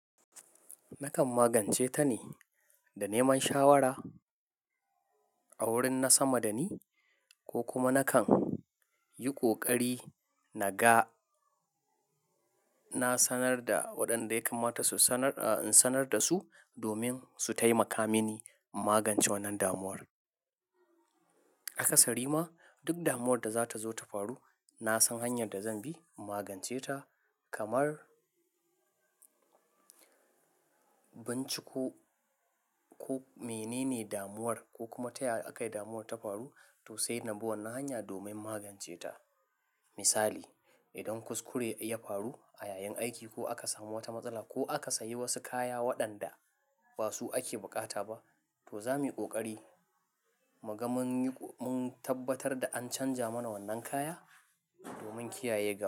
Nakan magance ta ne da neman shawara a wurin na sama da ni ko kuma nakan yi ƙoƙari na ga na sanar da waɗanda ya kamata in sanar da su domin su taimaka mini magance wannan damuwar. A kasari ma duk damuwar da za ta zo ta faru, na san hanyar da zan bi magance ta kamar binciko mene ne damuwar ko kuma ta yaya aka yi damuwar ta faru to sai na bi wannan hanya domin magance ta. Misali, idan kuskure ya faru a yayin aiki ko aka samu wata matsala ko aka sayi wasu kaya waɗanda ba su ake bukata ba, to za mu yi ƙoƙari mugamun tabbatar da an canja mana wannan kaya domin kiyaye gaba.